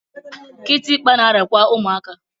Kitikpa na-arịa kwa ụmụaka.